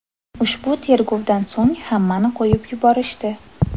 Ushbu tergovdan so‘ng hammani qo‘yib yuborishdi.